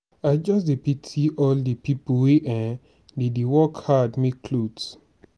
i just dey pity all the people wey um dey work hard make cloths.